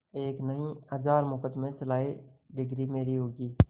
एक नहीं हजार मुकदमें चलाएं डिगरी मेरी होगी